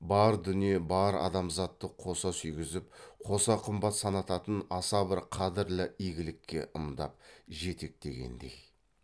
бар дүние бар адамзатты қоса сүйгізіп қоса қымбат санататын аса бір қадірлі игілікке ымдап жетектегендей